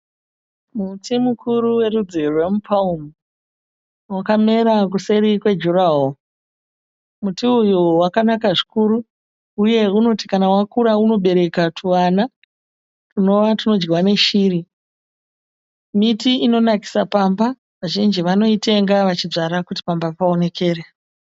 Muti mukuru werudzi rweMuparumu. Wakamera kuseri kwejurahoro. Muti uyu wakanaka zvikuru uye unoti kana wakura unobereka twuvana twunova twunodyiwa neshiri. Miti inonakisa pamba, vazhinji vanoitenga vachidzvara kuti pamba paonekere.